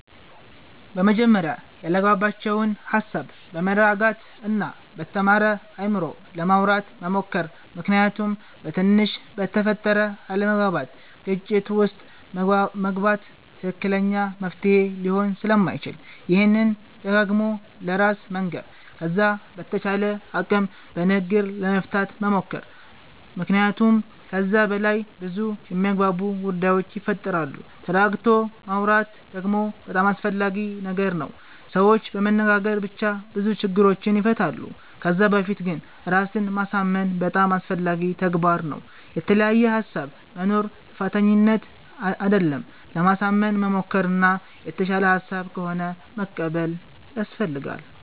በመጀመርያ ያላግባባቸዉን ሃሳብ በመረጋጋት እና በተማረ አይምሮ ለማዉራት መሞከር ምክንያቱም በትንሽ በተፈጠረ አለመግባባት ግጭት ዉስጥ መግባት ትክክለኛ መፍትሄ ሊሆን ስለማይችል ይሄንን ደጋግሞ ለራስ መንገር ከዛ በተቻለ አቅም በንግግር ለመፍታት መሞከር መክንያቱመ ከዛ በላይ በዙ የሚያግባቡ ጉዳዮች ይፈጠራሉ ተረጋግቶ ማወራት ደግሞ በጣም አስፈላጊ ነገር ነዉ ሰዎች በመነጋገር ብቻ ብዙ ችግሮችን ይፈታሉ ከዛ በፊት ግን ራስን ማሳምን በጣም አስፈላጊ ተግባር ነዉ። የተለያየ ሃሳብ መኖር ጥፋተኝነት አደለም ለማሳመን መሞከር እና የተሻለ ሃሳብ ከሆነ መቀበል ያሰፈልጋል